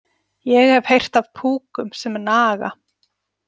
Ég hef heyrt af púkum sem naga.